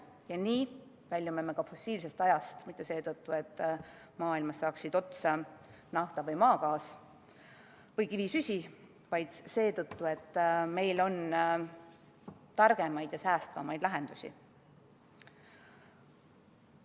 Ja nii väljume me ka fossiilsest ajast mitte seetõttu, et maailmas saaksid otsa nafta või maagaas või kivisüsi, vaid seetõttu, et meil on targemaid ja säästvamaid lahendusi.